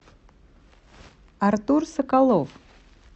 артур соколов